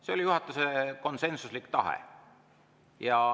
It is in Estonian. See oli juhatuse konsensuslik tahe.